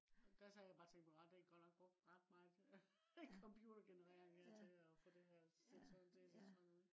og da sad jeg bare og tænkte på der godt nok brugt ret meget computergenerering til at øh få det her øh til at se sådan ud